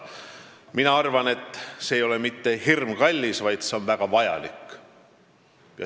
Mina arvan, et see ei ole mitte hirmkallis, vaid see on väga vajalik.